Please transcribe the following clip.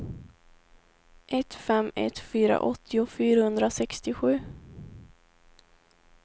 ett fem ett fyra åttio fyrahundrasextiosju